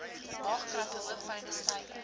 maagkrampe hoofpyne stywe